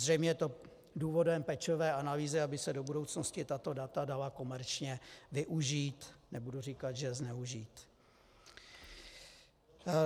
Zřejmě je to důvodem pečlivé analýzy, aby se do budoucnosti dala tato data komerčně využít, nebudu říkat, že zneužít.